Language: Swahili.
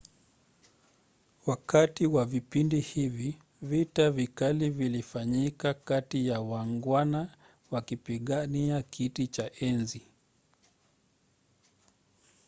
wakati wa vipindi hivi vita vikali vilifanyika kati ya waangwana wakipigania kiti cha enzi